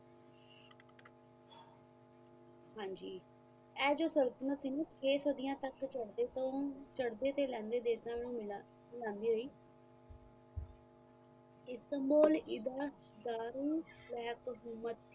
ਇਹ ਜੋ ਸਰਪਣੇਸ ਸੀ ਛੇ ਸਦਿਆ ਤੱਕ ਚਾੜਦੇ ਤੋਂ ਸ ਚਾੜਦੇ ਲੈਦੇ ਦੇਸ਼ਾ ਮਿਲਦੀ ਹੋਈ ਏਦਾਂ ਦਾਰ ਹਕੂਮਤ ਸੀ